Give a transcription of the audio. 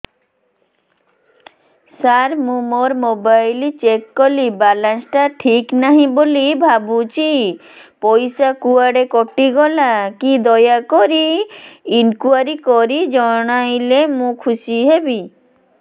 ସାର ମୁଁ ମୋର mobile check କଲି ବାଲାନ୍ସ ଟା ଠିକ ନାହିଁ ବୋଲି ଭାବୁଛି ପଇସା କୁଆଡେ କଟି ଗଲା କି ଦୟାକରି ଇନକ୍ୱାରି କରି ଜଣାଇଲେ ମୁଁ ଖୁସି ହେବି